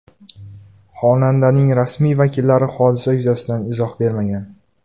Xonandaning rasmiy vakillari hodisa yuzasidan izoh bermagan.